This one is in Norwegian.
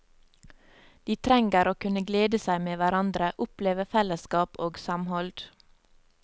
De trenger å kunne glede seg med hverandre, oppleve fellesskap og samhold.